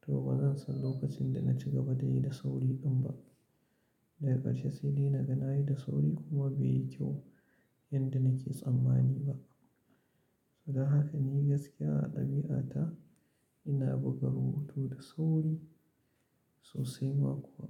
to ba zan san lokacin da na ci gaba da yi da sauri ɗin ba. Daya ƙarshe sai dai nagana ayi da sauri kuma bai yi kyau yadda nake tsammani ba. Saboda haka ni gaskiya a ɗabi'ata ina buga rubutu da sauri sosai ma kuwa.